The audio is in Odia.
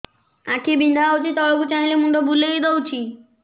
ଆଖି ବିନ୍ଧା ହଉଚି ତଳକୁ ଚାହିଁଲେ ମୁଣ୍ଡ ବୁଲେଇ ଦଉଛି